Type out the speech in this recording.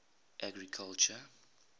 agriculture